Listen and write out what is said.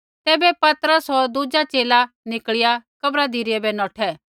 तैबै पतरस होर दुज़ा च़ेला निकल़िया कब्र धिरै बै नौठै